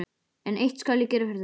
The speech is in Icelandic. En eitt skal ég gera fyrir þig.